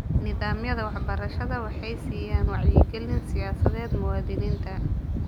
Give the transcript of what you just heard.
Nidaamyada waxbarashadu waxay siiyaan wacyigelin siyaasadeed muwaadiniinta.